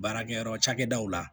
Baarakɛyɔrɔ cakɛdaw la